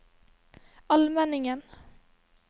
Almenningen